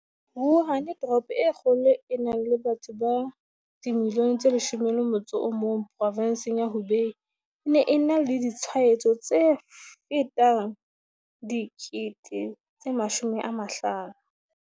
Wuhan, toropo e kgolo e nang le batho ba 11 milione provenseng ya Hubei, e ne e na le ditshwaetso tse fetang 50 000.